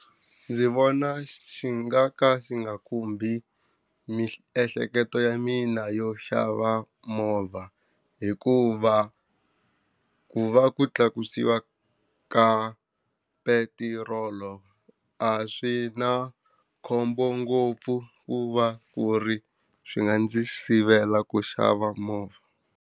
Ndzi vona xi nga ka xi nga khumbi miehleketo ya mina yo xava movha, hikuva ku va ku tlakusiwa ka petirolo a swi na khombo ngopfu ku va ku ri swi nga ndzi sivela ku xava movha.